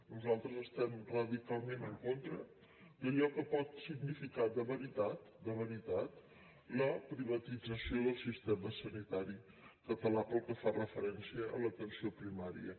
nosaltres estem radicalment en contra d’allò que pot significar de veritat de veritat la privatització del sistema sanitari català pel que fa referència a l’atenció primària